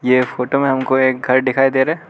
ये फोटो में हमको एक घर दिखाई दे रहा।